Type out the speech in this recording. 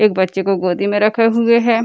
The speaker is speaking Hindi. एक बच्चे को गोदी में रखे हुए है।